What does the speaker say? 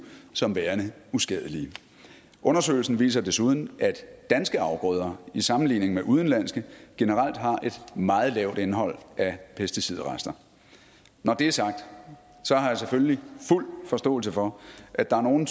som værende uskadelige undersøgelsen viser desuden at danske afgrøder i sammenligning med udenlandske generelt har et meget lavt indhold af pesticidrester når det er sagt har jeg selvfølgelig fuld forståelse for at der er nogle